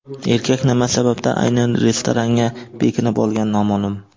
Erkak nima sababdan aynan restoranga bekinib olgani noma’lum.